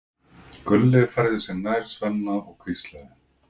Gulli færði sig nær Svenna og hvíslaði